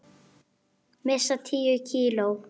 Missa tíu kíló.